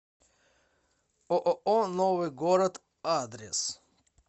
ооо новый город адрес